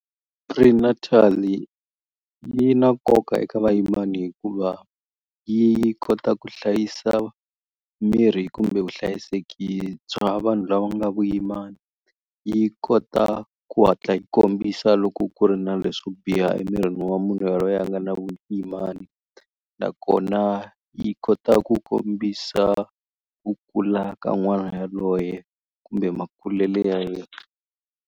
Prenatal yi na nkoka eka vayimani hikuva yi kota ku hlayisa miri kumbe vuhlayiseki bya vanhu lava nga vuyimani yi kota ku hatla yi kombisa loko ku ri na leswo biha emirini wa munhu yalweyo a nga na vuyimani nakona yi kota ku kombisa ku kula ka n'wana yaloye kumbe makulele ya yena.